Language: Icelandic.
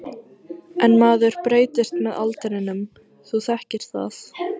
En maður breytist með aldrinum, þú þekkir það.